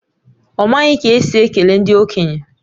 Ọ maghị ka esi ekele ndị okenye